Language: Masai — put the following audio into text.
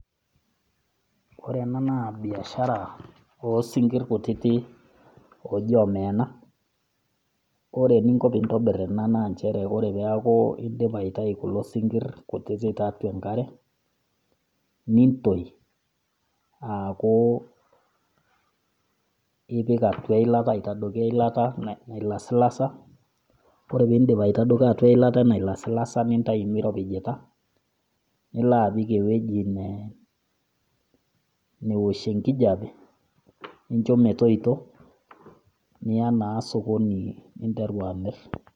Ore ena naa biashara o isinkirr kutitik ooji Omeena, ore eninko pee intobir ena naa nchere ore pee eaku indipa aitayu kulo sinkir kutitik tiatua enkare, nintoi aaku ipik atua e eilata ipik atua e eilata nailasilasa, ore pe indip aitadoki atua eilata nailasilasa, nintayu meiropija, nilo apik ewueji naosh enkijape, nincho metoito niyaa naa sokoni amirr.